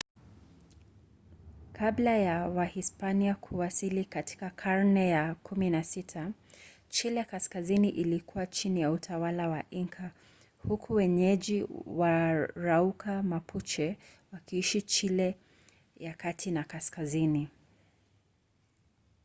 kabla ya wahispania kuwasili katika karne ya 16 chile kaskazini ilikuwa chini ya utawala wa inca huku wenyeji waarauka mapuche wakiishi chile ya kati na kaskazini